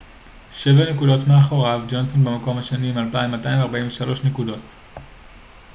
שבע נקודות מאחוריו ג'ונסון במקום השני עם 2,243 נקודות